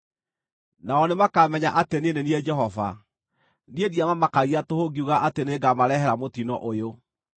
Nao nĩmakamenya atĩ niĩ nĩ niĩ Jehova; niĩ ndiamamakagia tũhũ ngiuga atĩ nĩngamarehere mũtino ũyũ.